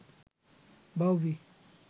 বাউবি